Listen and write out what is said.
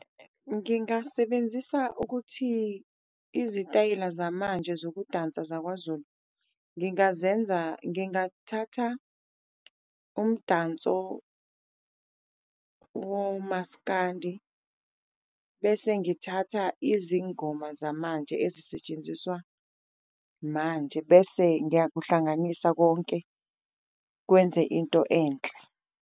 Ngingasebenzisa ukuthi izitayela zamanje zokudansa zakwaZulu ngingazenza ngingathatha umdanso, womaskandi bese ngithatha izingoma zamanje ezisetshenziswa manje. Bese ngiyakuhlanganisa konke kwenze into enhle.